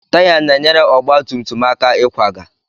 Taya na-enyere ọgba tum tum aka ịkwaga.